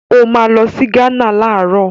Ó máa lọ sí Gánà láàárọ̀.